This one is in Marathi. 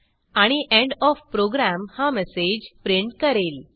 आणि एंड ओएफ प्रोग्राम हा मेसेज प्रिंट करेल